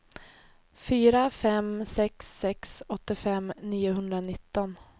fyra fem sex sex åttiofem niohundranitton